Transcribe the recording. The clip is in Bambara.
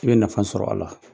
I be nafa sɔrɔ a la.